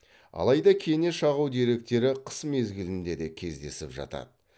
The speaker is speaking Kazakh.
алайда кене шағу деректері қыс мезгілінде де кездесіп жатады